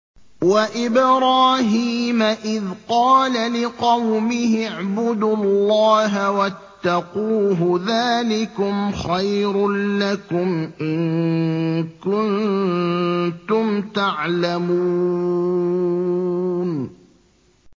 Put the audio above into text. وَإِبْرَاهِيمَ إِذْ قَالَ لِقَوْمِهِ اعْبُدُوا اللَّهَ وَاتَّقُوهُ ۖ ذَٰلِكُمْ خَيْرٌ لَّكُمْ إِن كُنتُمْ تَعْلَمُونَ